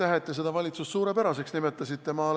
Ja aitäh, et te seda valitsust suurepäraseks nimetasite!